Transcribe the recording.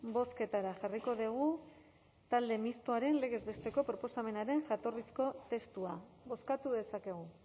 bozketara jarriko dugu talde mistoaren legez besteko proposamenaren jatorrizko testua bozkatu dezakegu